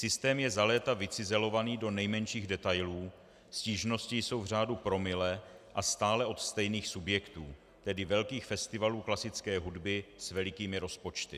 Systém je za léta vycizelovaný do nejmenších detailů, stížnosti jsou v řádu promile a stále od stejných subjektů, tedy velkých festivalů klasické hudby s velikými rozpočty.